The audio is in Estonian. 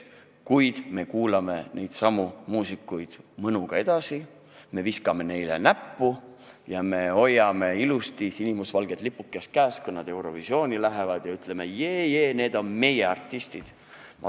Ometi me kuulame neidsamu muusikuid mõnuga edasi, viskame neile näppu, hoiame ilusti sinimustvalget lipukest käes, kui nad Eurovisionile lähevad, ja ütleme: jee-jee, need on meie artistid!